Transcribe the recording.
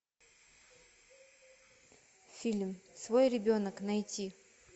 фильм свой ребенок найти